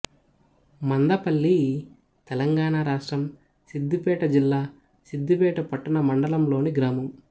మందపల్లి తెలంగాణ రాష్ట్రం సిద్ధిపేట జిల్లా సిద్దిపేట పట్టణ మండలంలోని గ్రామం